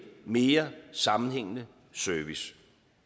mere sammenhængende service